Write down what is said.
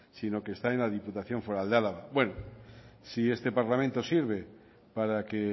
sino que está en la diputación foral de álava bueno si este parlamento sirve para que